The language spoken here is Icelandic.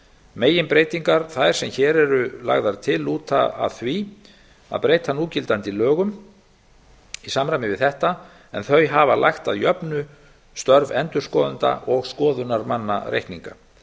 meginbreytingar þær sem hér eru lagðar til lúta að því að breyta núgildandi lögum í samræmi við þetta en þau hafa lagt að jöfnu störf endurskoðenda og skoðunarmanna reikninga